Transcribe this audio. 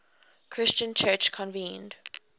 christian church convened